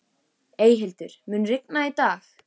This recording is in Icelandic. Eyhildur, mun rigna í dag?